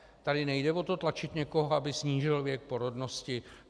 Tady nejde o to tlačit někoho, aby snížil věk porodnosti.